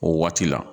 O waati la